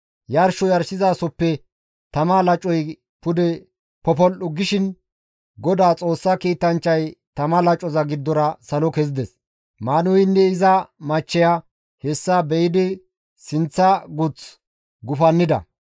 Yarsho yarshizasoppe tama lacoy pude popol7u gishin Godaa Xoossa kiitanchchay tama lacoza giddora salo kezides. Maanuheynne iza machcheya hessa be7idi sinththa guth gufannida.